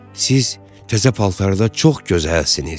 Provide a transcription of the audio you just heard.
Siz təzə paltarda çox gözəlsiniz.